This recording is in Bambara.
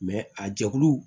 a jɛkulu